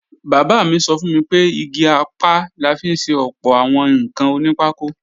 Bàbá mi sọ fún mi pé igi apá la fi ṣe ọ̀pọ̀ àwọn ǹkan onípákó